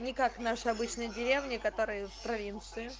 никак наши обычные деревни которые в провинции